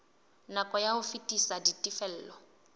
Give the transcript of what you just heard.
nako ya ho fetisa ditifelo